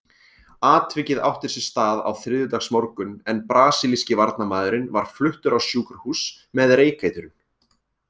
Atvikið átti sér stað á þriðjudagsmorgun en brasilíski varnarmaðurinn var fluttur á sjúkrahús með reykeitrun.